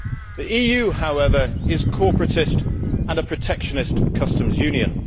The EU, however, is corporatist and a protectionist customs union